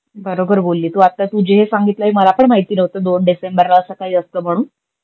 बरोबर बोली तु. आत्ता तु जे सांगितलं हे मला पण माहित नवत दोन डिसेंबरला अस काही असत म्हणून.